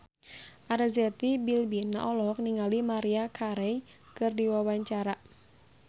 Arzetti Bilbina olohok ningali Maria Carey keur diwawancara